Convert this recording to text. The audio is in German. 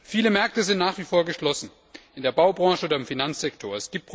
Viele Märkte sind nach wie vor geschlossen, in der Baubranche oder im Finanzsektor.